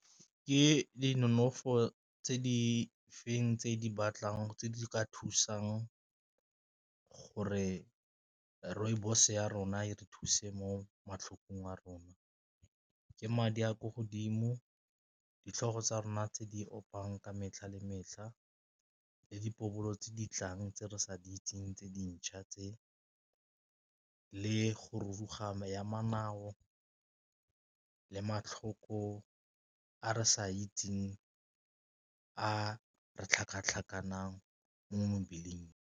Ke di nonofo tse di feng tse di batlang tse di ka thusang gore rooibos ya rona e re thuse mo matlhokong a rona? Ke madi a kwa godimo, ditlhogo tsa rona tse di opang ka metlha le metlha le boipobolo tse di tlang tse re sa di itseng tse dintšha tse, le go rulaganya ya manao le matlhoko a re sa itseng a re tlhakatlhakang mo mebeleng.